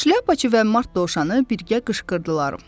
Şlyapaçı və Mart dovşanı birgə qışqırdılar: